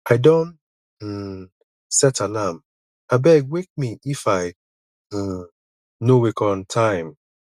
i don um set alarm abeg wake me if i um no wake on time